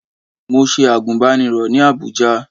Mo ṣe àgùnbánirọ̀ ní Àbújá